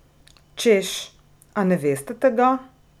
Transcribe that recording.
Češ, a ne veste tega?